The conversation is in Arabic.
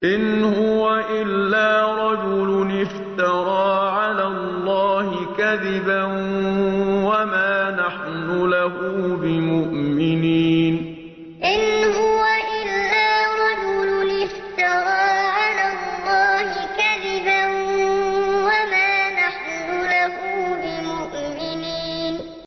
إِنْ هُوَ إِلَّا رَجُلٌ افْتَرَىٰ عَلَى اللَّهِ كَذِبًا وَمَا نَحْنُ لَهُ بِمُؤْمِنِينَ إِنْ هُوَ إِلَّا رَجُلٌ افْتَرَىٰ عَلَى اللَّهِ كَذِبًا وَمَا نَحْنُ لَهُ بِمُؤْمِنِينَ